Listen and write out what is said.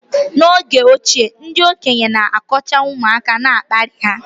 n’oge ochie, ndị okenye na-akọcha ụmụaka na-akparị ha